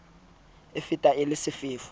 a fetang le a sefefo